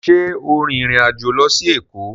ṣe o rìn ìrin àjọ ló sì Eko?